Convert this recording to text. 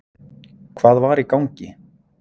Hvað var í gangi?